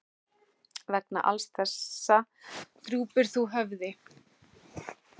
Vegna alls þessa drúpir þú höfði.